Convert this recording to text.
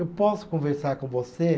Eu posso conversar com você?